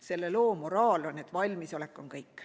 Selle loo moraal on, et valmisolek on kõik.